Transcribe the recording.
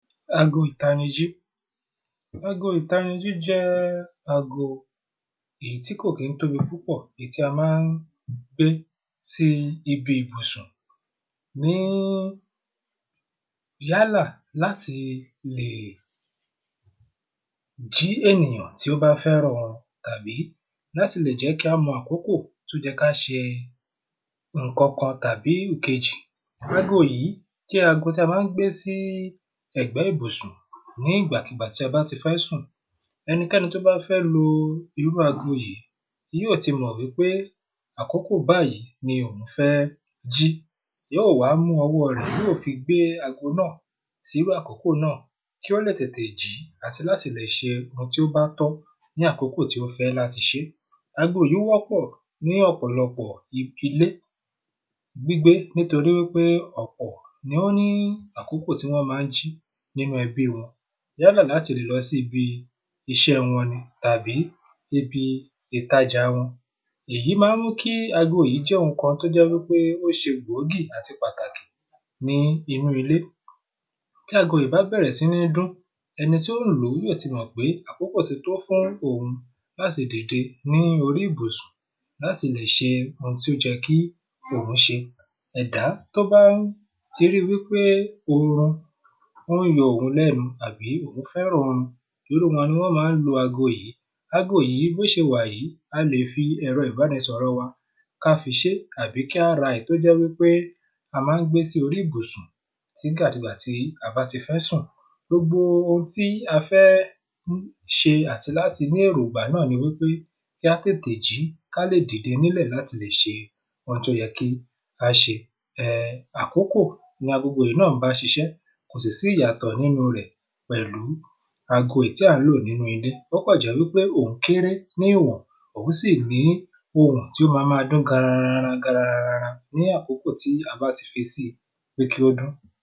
Ago ìtanijí, ago ìtanijí jẹ́ ago èyí tí ò kín tóbi púpọ̀, èyí tí a ma ń gbé sí ibi ìbùsùn, ní yálà láti lè jí ènìyàn tí ó bá fẹ́ràn orun tàbí láti lè jẹ́ kí á mọ àkókò, tó yẹ ká ṣe ǹkankan tàbí ìkejì. Ago yìí jẹ́ àgọ́ tí a ma ń gbé sí ẹ̀gbẹ́ ìbùsùn nígbà kugbà tí a bá ti fẹ́ sùn, ẹnikẹ́ni tó bá fẹ́ lo irú ago yìí, yó ti mọ̀ wípé àkókò báyìí ni òwun fẹ́ jí, yóò wá mú ọwọ́ọ rẹ̀, yóò fi gbé agbo náà, sí rú àkókò náà, kí ó lè tètè jí àti láti lè se ǹkan tó bá tọ́ ní àkókò tó fẹ́ láti sẹ ẹ́. Ago yìí wọ́pọ̀ ní ọ̀pọ̀lọpọ̀ ilẹ́ gbígbé nítorí wípé ọ̀pọ̀ ni ó ní àkókò tí wọ́n ma ń jí nínu ẹbí wọn, yálà láti lọ síbi iṣẹ́ wọn ni, tàbí ibi ìtajà wọn, Èyí ma ń mú kí ago yìí jẹ́ oun ǹkan tó ṣe bòógí àti pàtàkì ní inú ilé, tí ago yìí bá bẹ̀rẹ̀ sí ní dún, ẹni tí ó ń lòó, yó ti mọ̀ pé àkókò ti tó fún òun láti dìde ní orí ìbùsùn láti lè ṣe oun tó yẹ kí òun ṣe, ẹ̀dá tó bá ti rí pé orun, ó ń yọ òun lẹ́nu tàbí ó fẹ́ràn orun, irúu wọn ni wọ́n má ń lo ago yìí, ago yìí, bí ó ṣe wà yí, a lè fi ẹ̀rọ ìbánisọ̀rọ̀ wa, kí á fi ṣẹ́ tàbí kí á ra èyí tó jẹ́ pé a ma ń gbé sí orí ìbùsùn nígbà kugbà tí a bá ti fẹ́ sùn, gbogbo oun tí a fẹ́ ṣe àti láti ní èrògbà náà ni wípé kí á tètè jí, kí á lè dìde nílẹ̀ láti lè ṣe oun tí ó yẹ kí á ṣe. Àkókò, ni agogo yìí ń bá sisẹ́, kò sì sí ìyàtọ̀ nínu rẹ̀ pẹ̀lú, agogo èyí tí à ń lò nínu ilé, o kàn jẹ́ wípé òun kéré ní ìwọ̀n, òun sì ní ohùn tó ma ma dún garara garara, ní àkókò tí a bá ti fẹ́ si, pé kí ó dún.